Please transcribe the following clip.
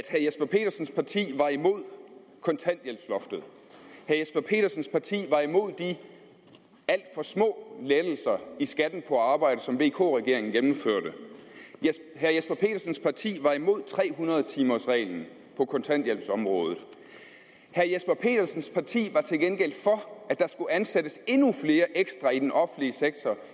jesper petersens parti var imod kontanthjælpsloftet herre jesper petersens parti var imod de alt for små lettelser i skatten på arbejde som vk regeringen gennemførte herre jesper petersens parti var imod tre hundrede timers reglen på kontanthjælpsområdet herre jesper petersens parti var til gengæld for at der skulle ansættes endnu flere ekstra i den offentlige sektor